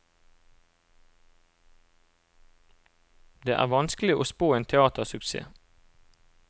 Det er vanskelig å spå en teatersuksess.